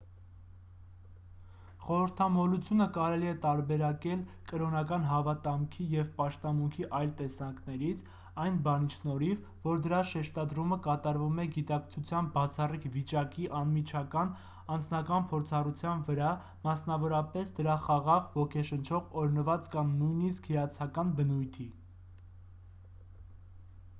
խորհրդամոլությունը կարելի է տարբերակել կրոնական հավատամքի և պաշտամունքի այլ տեսակներից այն բանի շնորհիվ որ դրա շեշտադրումը կատարվում է գիտակցության բացառիկ վիճակի անմիջական անձնական փորձառության վրա մասնավորապես դրա խաղաղ ոգեշնչող օրհնված կամ նույնիսկ հիացական բնույթի